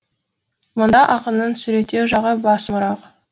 мұнда ақынның суреттеу жағы басымырақ